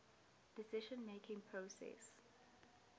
decision making process